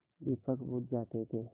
दीपक बुझ जाते थे